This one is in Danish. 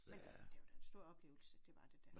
Men det var da en stor oplevelse det var det da